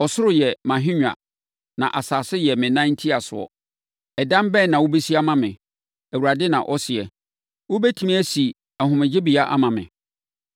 “ ‘Ɔsoro yɛ mʼahennwa, na asase yɛ me nan ntiasoɔ. Ɛdan bɛn na wobɛsi ama me? Awurade na ɔseɛ. Wobɛtumi asi ahomegyebea ama me?